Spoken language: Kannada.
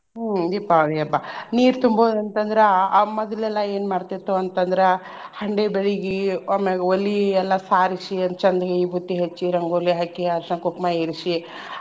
ಹ್ಮ್ ದೀಪಾವಳಿ ಹಬ್ಬಾ. ನೀರ್ ತುಂಬೊದ್ ಅಂತ್ ಅಂದ್ರ ಆಹ್ ಮದ್ಲ ಎಲ್ಲಾ ಏನ್ ಮಾಡ್ತಿರ್ತೆವ ಅಂತ್ ಅಂದ್ರ ಹಂಡೆ ಬೆಳ್ಗಿ ಆಮ್ಯಾಗ ವಲಿ ಎಲ್ಲಾ ಸಾರಿಸಿ ಅದ್ಕ್ ಚಂದಗೆ ವಿಭೂತಿ ಹಚ್ಚಿ ರಂಗೋಲಿ ಹಾಕಿ ಅರ್ಶಿನ ಕುಕ್ಮಾ ಇರಿಸಿ.